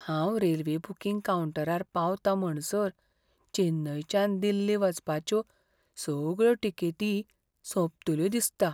हांव railway booking कावंटरार पावतां म्हणसर चेन्नयच्यान दिल्ली वचपाच्यो सगळ्यो तिकेटी सोंपतल्यो दिसता.